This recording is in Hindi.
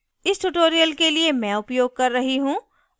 इस tutorial के लिए मैं उपयोग कर रही हूँ